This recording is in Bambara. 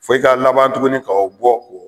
Fo i ka laban tuguni ka o bɔ